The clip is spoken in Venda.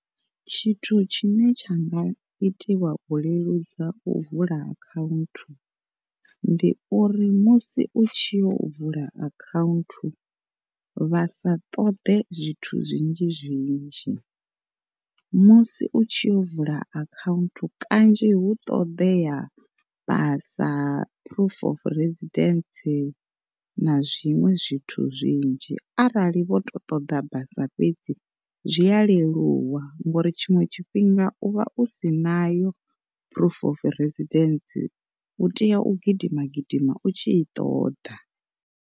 Tshithu tshine tsha nga itiwa u leludza u vula akhaunthu, ndi uri musi u tshi yo vula akhaunthu vhasa ṱoḓe zwithu zwinzhi zwinzhi. Musi utshi yo vula akhaunthu kanzhi hu ṱoḓea basa, proof of residence na zwiṅwe zwithu zwinzhi, arali vho to ṱoḓa basa fhedzi zwi a leluwa, ngori tshiṅwe tshifhinga u vha u si nayo proof of residence u tea u gidima gidima u tshi i ṱoḓa.